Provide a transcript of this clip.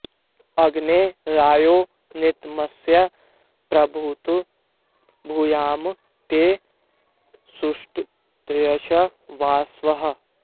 अग्ने॑ रा॒यो नृत॑मस्य॒ प्रभू॑तौ भू॒याम॑ ते सुष्टु॒तय॑श्च॒ वस्वः॑